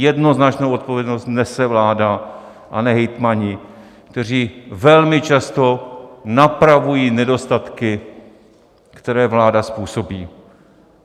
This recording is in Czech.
Jednoznačnou odpovědnost nese vláda, a ne hejtmani, kteří velmi často napravují nedostatky, které vláda způsobí.